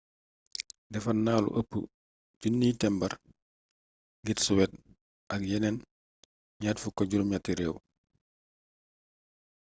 defar nalu ëpp 1000 tembar ngir suwed ak yeneen 28 réew